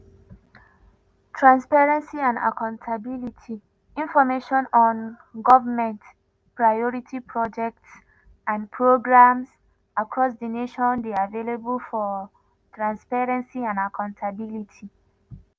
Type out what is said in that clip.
transparency and accountability:information on goment priority projects and programs across di nation dey available for transparency and accountability.